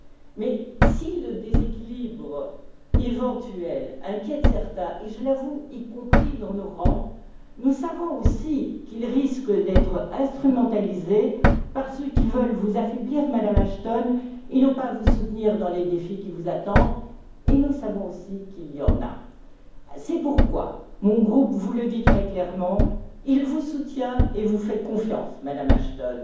Mais si le déséquilibre éventuel inquiète certains et je l'avoue, y compris dans nos rangs nous savons aussi qu'il risque d'être instrumentalisé par ceux qui veulent vous affaiblir, Madame Ashton, et non pas vous soutenir dans les défis qui vous attendent, et nous savons aussi qu'il y en a. C'est pourquoi, mon groupe vous le dit très clairement, il vous soutient et vous fait confiance, Madame Ashton.